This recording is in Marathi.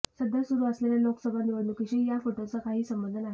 सध्या सुरू असलेल्या लोकसभा निवडणुकीशी या फोटोचा काहीही संबंध नाही